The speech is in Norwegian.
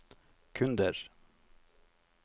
kunder